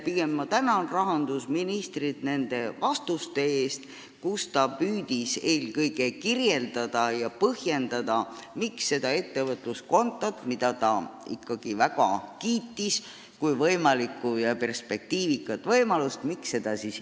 Pigem ma tänan rahandusministrit nende vastuste eest, kus ta püüdis eelkõige kirjeldada ja põhjendada, miks ikkagi ei ole seda ettevõtluskontot, mida ta väga kiitis kui perspektiivikat võimalust.